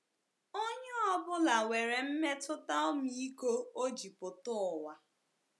Onye ọ bụla nwere mmetụta ọmịiko o ji pụta ụwa.